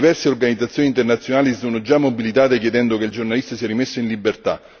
Diverse organizzazioni internazionali si sono già mobilitate chiedendo che il giornalista sia rimesso in libertà.